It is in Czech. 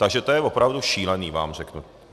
Takže to je opravdu šílený, vám řeknu.